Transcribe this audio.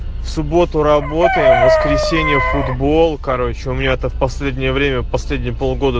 в субботу работаем в воскресенье футбол короче у меня это в последнее время последние полгода